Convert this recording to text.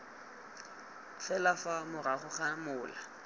fela fa morago ga mola